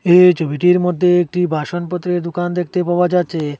এই ছবিটির মধ্যে একটি বাসনপত্রের দুকান দেখতে পাওয়া যাচ্ছে।